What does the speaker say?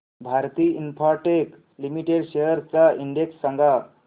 Bharti Infratel limited shares चा index सांगा